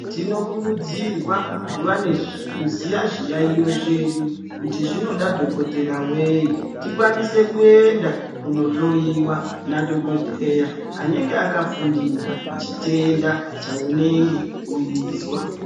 Tinokurudzirwa kuziya zviyaiyo zvedu kuti zvinoda dhokodheya wei tikwanise kuenda kunohloyiwa nadhokodheya anenge akafundira chitenda chaunenge weizwa.